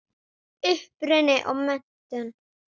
Uppruni og menntun